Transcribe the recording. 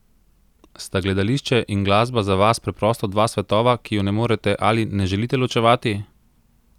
Sta gledališče in glasba za vas preprosto dva svetova, ki ju ne morete ali ne želite ločevati?